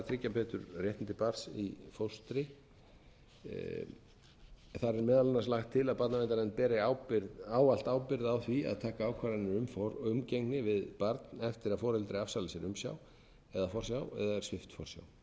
tryggja betur réttindi barns í fóstri þar er meðal annars lagt til að barnaverndarnefnd beri ávallt ábyrgð á því að taka ákvarðanir um umgengni við barn eftir að foreldri afsalar sér umsjá eða forsjá eða svipt forsjá